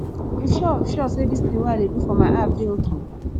you sure sure say this thing wey i dey do for my app dey okay